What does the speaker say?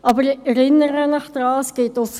Ich erinnere Sie aber daran: